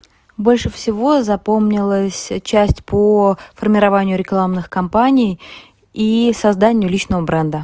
больше всего запомнилось часть по формированию рекламных кампаний и созданию личного бренда